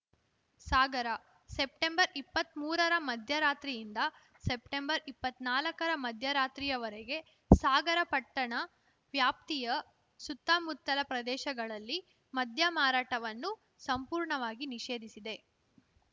ಸಾಗರ September ಇಪ್ಪತ್ಮೂರರ ಮಧ್ಯರಾತ್ರಿಯಿಂದ September ಇಪ್ಪತ್ತ್ ನಾಲ್ಕರ ಮಧ್ಯರಾತ್ರಿಯವರೆಗೆ ಸಾಗರ ಪಟ್ಟಣ ವ್ಯಾಪ್ತಿಯ ಸುತ್ತಮುತ್ತಲ ಪ್ರದೇಶಗಳಲ್ಲಿ ಮದ್ಯಮಾರಾಟವನ್ನು ಸಂಪೂರ್ಣವಾಗಿ ನಿಷೇಧಿಸಿದೆ